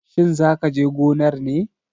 Shin za ka je gonar ne?